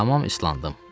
Tamam islandım.